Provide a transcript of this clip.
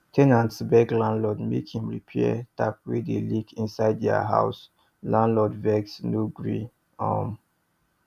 ten nants beg landlord make him repair tap wey dey leak inside their house landlord vex no gree um